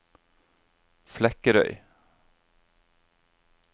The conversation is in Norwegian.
Flekkerøy